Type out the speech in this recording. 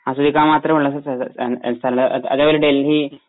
അസൂയക്കാൻ മാത്രമുള്ള സ്ഥ ഒരു അതെ പോലെ ഡൽഹി